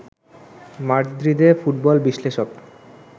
মাদ্রিদে football বিশ্লেষক